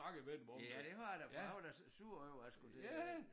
Ja det har jeg da for jeg var da sur over jeg skulle til øh